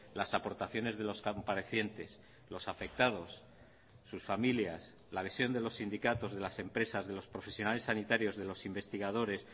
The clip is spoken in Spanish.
las aportaciones de los comparecientes los afectados sus familias la visión de los sindicatos de las empresas de los profesionales sanitarios de los investigadores